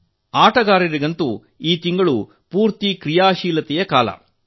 ಆಟಗಾರರಿಗಂತೂ ಈ ತಿಂಗಳೀಡಿ ಸಂಪೂರ್ಣ ಚಟುವಟಿಕೆಗಳಿಂದ ಕೂಡಿರುತ್ತದೆ